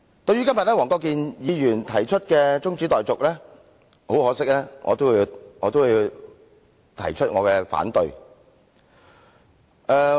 對於今天黃國健議員動議中止待續議案，很可惜，我也要提出反對。